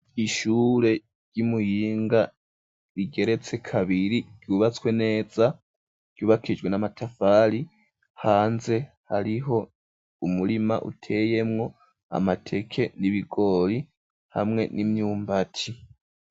Ishure ry'i Muyinga rigeretse kabiri ryubatswe neza ryubakishijwe n'amatafari. Hanze hariho umurima uteyemwo amateke n'ibigori, hamwe n'imyumbati.